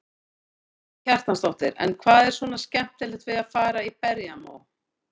Karen Kjartansdóttir: En hvað er svona skemmtilegt við að fara í berjamó?